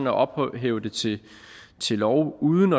at ophæve det til lov uden